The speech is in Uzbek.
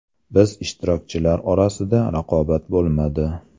Biz ishtirokchilar orasida raqobat bo‘lmadi.